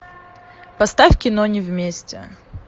поставь кино не вместе